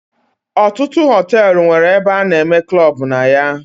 Ọtụtụ hotelu nwere ebe ana eme klub na ya.